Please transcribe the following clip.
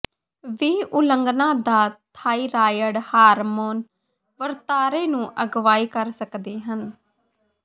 ਵੀ ਉਲੰਘਣਾ ਦਾ thyroid hormone ਵਰਤਾਰੇ ਨੂੰ ਅਗਵਾਈ ਕਰ ਸਕਦੇ ਹਨ